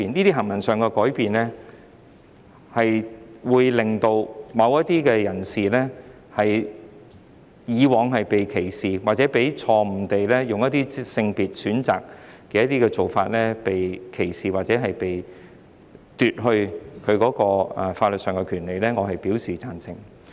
這些改變會令某些人士，以往被歧視或錯誤地以性別選擇的做法被歧視或被奪去法律上的權利，我表示贊成。